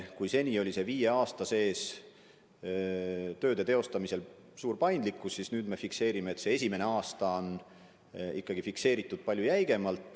Kui seni oli viie aasta jooksul tehtavate tööde teostamisel lubatud suur paindlikkus, siis nüüd see esimene aasta on ikkagi fikseeritud palju jäigemalt.